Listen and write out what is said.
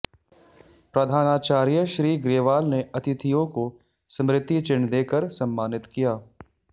प्रधानाचार्य श्री ग्रेवाल ने अतिथियों को स्मृति चिह्न देकर सम्मानित किया